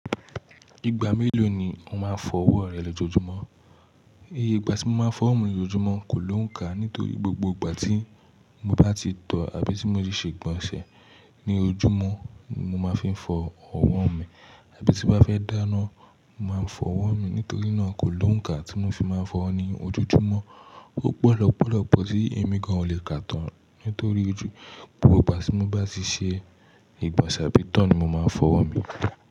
Ìgbà mélòó ni o máa ń fọ ọwọ́ rẹ lójoojúmọ́? Iyé ìgbà tí mo máa ń fọ ọwọ́ mi lójoojúmọ́ kò lónká nítorí gbogbo ìgbà tí mo bá ti tọ̀ àbí tí mo tí ṣe ìgbọ̀nsẹ̀ ní ojúmọ́ mo máa fi ń fi fọ ọwọ́ mi, àbí tí n bá fẹ́ dáná, mo máa ń fọ ọwọ́ mi. Nítorí náà kò lonká tí mo fi máa ń fọ owo ní ojoojúmọ́. Ó pọ̀ lọ́pọ̀lọ́pọ̀ tí ẹ̀mí gan ò lè ká tán nítorí ojú. Gbogbo ìgbà tí mo bá ti ṣe ìgbọ̀nsẹ̀ abí itọ́ ni mo máa ń fọ ọwọ́ mi.